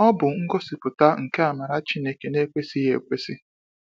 Ọ bụ ngosipụta nke amara Chineke na-ekwesịghị ekwesi.